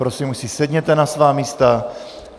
Prosím, už si sedněte na svá místa.